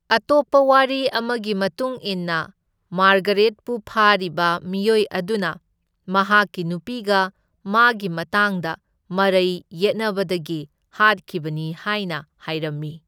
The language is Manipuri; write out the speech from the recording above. ꯑꯇꯣꯞꯄ ꯋꯥꯔꯤ ꯑꯃꯒꯤ ꯃꯇꯨꯡꯏꯟꯅ ꯃꯥꯔꯒꯔꯦꯠꯄꯨ ꯐꯥꯔꯤꯕ ꯃꯤꯑꯣꯏ ꯑꯗꯨꯅ ꯃꯍꯥꯛꯀꯤ ꯅꯨꯄꯤꯒ ꯃꯥꯒꯤ ꯃꯇꯥꯡꯗ ꯃꯔꯩ ꯌꯦꯠꯅꯕꯗꯒꯤ ꯍꯥꯠꯈꯤꯕꯅꯤ ꯍꯥꯏꯅ ꯍꯥꯢꯔꯝꯃꯤ꯫